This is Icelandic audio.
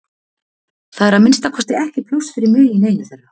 Það er að minnsta kosti ekki pláss fyrir mig í neinu þeirra